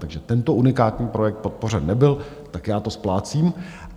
Takže tento unikátní projekt podpořen nebyl, tak já to splácím.